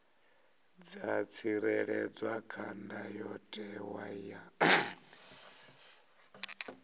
dza tsireledzwa kha ndayotewa ya